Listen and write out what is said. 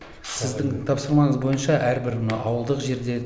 сіздің тапсырмаңыз бойынша әрбір мына ауылдық жерде